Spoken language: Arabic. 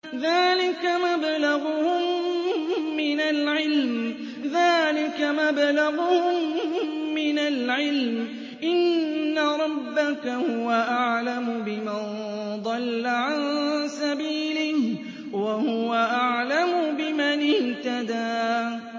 ذَٰلِكَ مَبْلَغُهُم مِّنَ الْعِلْمِ ۚ إِنَّ رَبَّكَ هُوَ أَعْلَمُ بِمَن ضَلَّ عَن سَبِيلِهِ وَهُوَ أَعْلَمُ بِمَنِ اهْتَدَىٰ